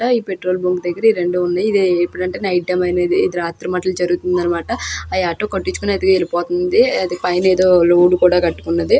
ఇక్కడ ఇది petrol bunk దగ్గర ఎపుడు అంటే నైట్ టైం జరుగుతునది అనమాట. హ ఆటో కొట్టించుకొని వేలిపోతునది. అది లోడ్ కూడా కట్టుకున్నది.